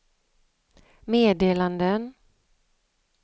meddelanden